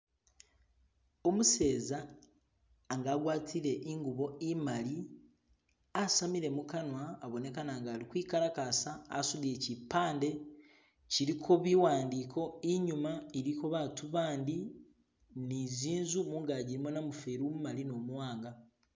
umuseza nga agwatile ingubo imali asamile mukanwa abonekana nga ali kwikalakasa asudile chipande chiliko biwandiko inyuma iliyo batu bandi nizinzu mungaji ilimo namuferi umumali numuwanga